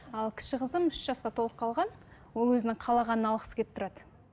ал кіші қызым үш жасқа толып қалған ол өзінің қалағанын алғысы келіп тұрады